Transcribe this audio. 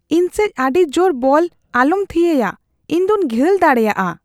ᱤᱧ ᱥᱮᱡ ᱟᱹᱰᱤ ᱡᱳᱨ ᱵᱚᱞ ᱟᱞᱚᱢ ᱛᱷᱤᱭᱟᱹᱭᱟ ᱾ ᱤᱧ ᱫᱚᱧ ᱜᱷᱟᱹᱞ ᱫᱟᱲᱮᱭᱟᱜᱼᱟ ᱾